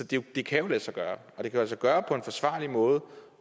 det det kan jo lade sig gøre og det kan lade sig gøre på en forsvarlig måde